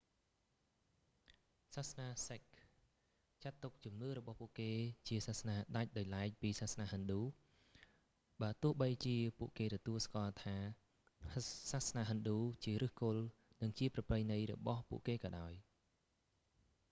សាសនាសិខចាត់ទុកជំនឿរបស់ពួកគេជាសាសនាដាច់ដោយឡែកពីសាសនាហិណ្ឌូ បើទោះបីជាពួកគេទទួលស្គាល់ថាសាសនាហិណ្ឌូជាឫសគល់ និងជាប្រពៃណីរបស់ពួកគេក៏ដោយ